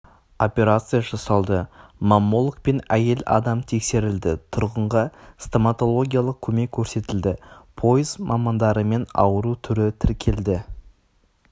операция жасалды маммологпен әйел адам тексерілді тұрғынға стоматологиялық көмек көрсетілді пойыз мамандарымен ауру түрі тіркелді